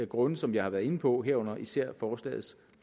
grunde som jeg har været inde på herunder især forslagets